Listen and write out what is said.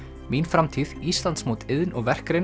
mín framtíð Íslandsmót iðn og verkgreina